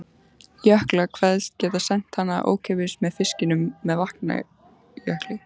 Jökla, kveðst geta sent hana ókeypis með fiskinum með Vatnajökli.